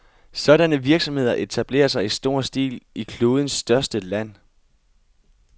Sådanne virksomheder etablerer sig i stor stil i klodens største land.